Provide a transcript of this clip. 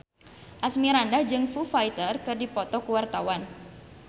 Asmirandah jeung Foo Fighter keur dipoto ku wartawan